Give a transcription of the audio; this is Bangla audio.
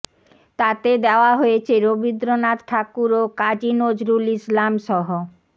তাতে দেওয়া হয়েছে রবীন্দ্রনাথ ঠাকুর ও কাজী নজরুল ইসলামসহ